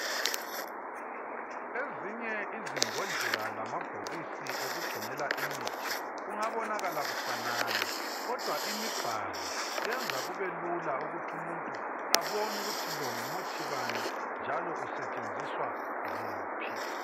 Ezinye izimbodlela lamabhokisi okugcinela imithi kungabonakala kufanana kodwa imibhalo yenza kube lula ukuthi umuntu ebon' ukuthi lo ngumuthi bani njalo usetshenziswa kuphi.